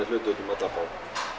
hlutum út um alla borg